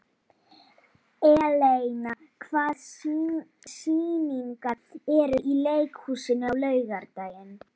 Eleina, hvaða sýningar eru í leikhúsinu á laugardaginn?